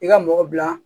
I ka mɔgɔ bila